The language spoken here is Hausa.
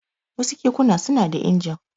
Wasu kekuna suna da injin.